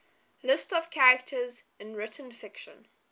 lists of characters in written fiction